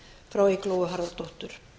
frá eygló harðardóttur